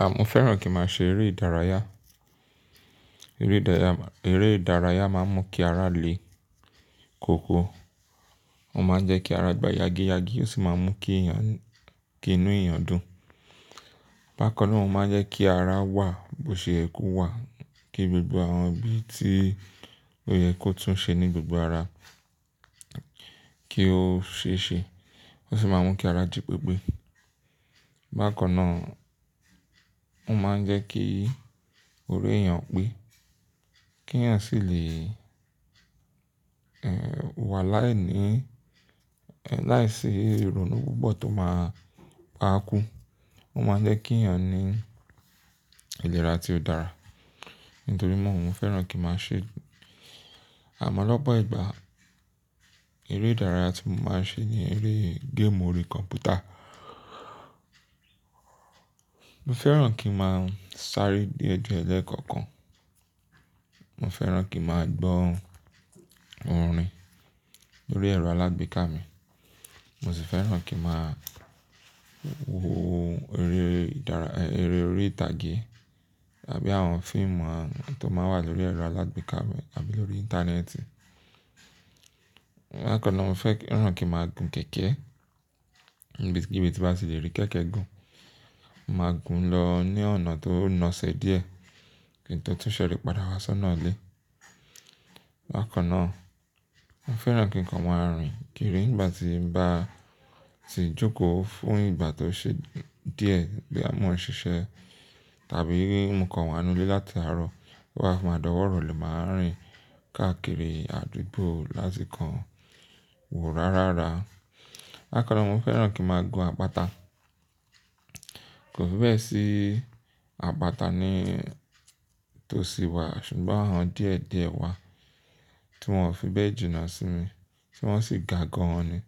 À mo fẹ́ràn kí màá ṣe eré ìdárayá. Eré ìdárayá, eré ìdárayá máa ń mú kí ara le koko. Ó máa ń jẹ́ kí ara gbá yagi yagi ó sì máa ń mú kí inú èèyàn dùn. Bákaná ó máa ń jẹ́ kí ara wà bó ṣe kú wà, kí gbogbo àwọn bí tí ó yẹ kó tún ṣe ní gbogbo ara kí ó ṣe ṣe. Ó sì máa ń mú kí ara jí pépé. Bákanà ó máa ń jẹ́ kí orí èèyàn pé kí èèyàn sì lè, ẹ́, wà láìní láìsí ìrònú púpọ̀ tó máa pa á kú. Ó máa ń jẹ́ kí èèyàn ní ìlera tí ó dára. Nítorína mo fẹ́ràn kí màá ṣe. Àmọ́ lọ́pọ̀ ìgbà eré ìdárayá tí mo máa ń ṣe ni eré game orí kọ̀mpútà. Mo fẹ́ràn kí màá sáré diè die lẹ́kọ̀ọ̀kan. Mo fẹ́ràn kí màá gbọ́ orin lórí ẹ̀rọ alágbèéká mi. Mo sì fẹ́ràn kí màá wo eré ìdárayá, eré orí ìtàgé àbí àwọn fíìmù à tí ó máa ń wà lórí ẹ̀rọ alágbèéká mi àbí lórí Íńtánẹ́ẹ̀tì. Bákan náà mo fẹ́ràn kí màá gun kẹ̀kẹ́ níbikibi tí bá tì lè rí kẹ̀kẹ́ gun. Mo máa gun lọ ní ọ̀nà tó na ese díẹ̀ kí n tó tún ṣẹ́rí padà wá sọ́nà ilé. Bákaná mo fẹ́ràn kí nǹkan máa rìn kiri nígbà tí n bá ti jókòó fún ìgbà tó ṣe díẹ̀ boya mọ̀ ń ṣiṣẹ́ tàbí bí mo wà nínú ilé láti àárọ̀ to bamàá dọwọ́ irole máa rìn káàkiri àdúgbò láti kan wo rárára. Bákan náà mo fẹ́ràn kí màá gun àpáta. Kò fi bẹ́ẹ̀ sí àpáta ní tó sì wà ṣùgbọ́n àwọn díẹ̀ díẹ̀ wà tí wọn ò fi bẹ́ẹ̀ jìnnà sí mi tí wọ́n sì ga gan an ni.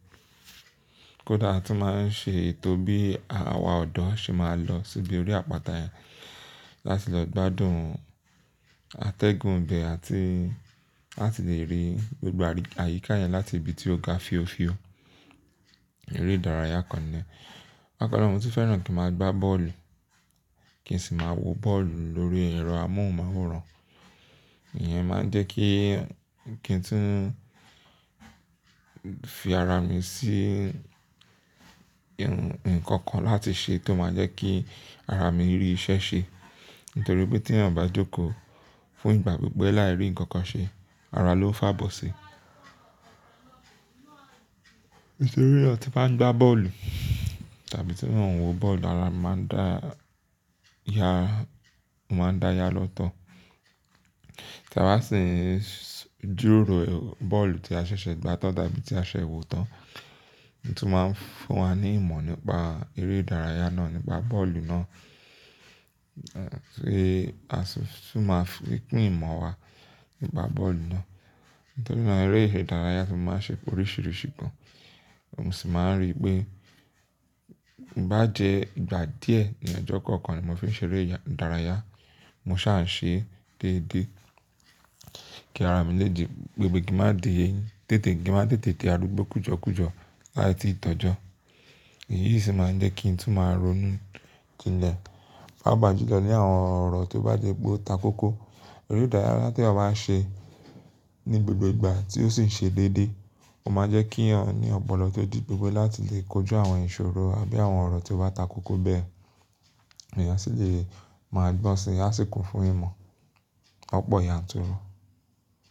Kódà tí wọ́n máa ń ṣe ètò bí àwọn ọ̀dọ́ ṣe máa lọ síbi orí àpáta yẹn láti lọ gbádùn àtẹ́gùn ibẹ̀ àti láti lè rí gbogbo àyíká yẹn láti ibi tí ó ga fíofío. Eré ìdárayá kan ni. Bákaná mo tun fẹ́ràn kí màá gbá bọ́ọ̀lù kí n sì máa wo bọ́ọ̀lù lórí ẹ̀rọ amóhùnmáwòrán. Ìyẹn máa ń jẹ́ kí kí n tún fi ara mi sí nǹkan kan láti ṣe tó máa jẹ́ kí ara mi rí iṣẹ́ ṣe. Nítorí pé tí èèyàn bá jókòó fún ìgbà pípẹ́ láì rí nǹkan kan ṣe ara ló ń fá bọ́ ṣe. Nítorí èèyàn tí bá ń gbá bọ́ọ̀lù tàbí tí nǹkan wo bọ́ọ̀lù ara maa máa ń dáya lọ́tọ̀. Tàba sìń jíròrò bọ́ọ̀lù tí a ṣẹ̀ṣẹ̀ gbá tán tàbí tí a ṣẹ̀ṣẹ̀ wo tán. Ọtun máa ń fún wa ní ìmọ̀ nípa eré ìdárayá náà, nípa bọ́ọ̀lù náà. Ẹ̀ sì, sì máa ń pín ìmọ̀ wa nípa bọ́ọ̀lù náà. Nítorí náà eré ìdárayá ní mo máa ń ṣe oríṣìíríṣìí gan an. Mo sì máa ń rí pé bá jẹ́ ìgbà díẹ̀ ní ọjọ́ kọ̀ọ̀kan ni mo fi ń ṣe eré ìdárayá, mo ṣá ń ṣe déédéé kí ara mi lè di gbogbo gìmá di tètè, gìmá tètè di arúgbó kùjọkùjọ láiti ìtọ́jọ́. Èyí sì máa ń jẹ́ kí n tún máa ronú jinlẹ̀. Paápa jùlọ ní àwọn ọ̀rọ̀ tí ó bá dé gbó takókó. Eré ìdárayá tí èèyàn bá ń ṣe ní gbogbo ìgbà tí ó sì ń ṣe déédéé ó máa jẹ́ kí èèyàn ní ọ̀pọ̀lọpọ̀ ọ̀tọ̀ dígbe láti lè kojú àwọn ìṣòro àbí àwọn ọ̀rọ̀ tí ó bá takókó bẹ́ẹ̀. Èèyàn sì lè máa gbọ́n si, a sì kún fún ìmọ̀ lọ́pọ̀ yanturu.